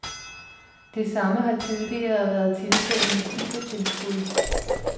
Det samme har tidligere været tilfældet med fibertilskud.